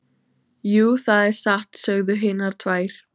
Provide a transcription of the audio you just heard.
Jú, það er satt, sögðu hinar tvær.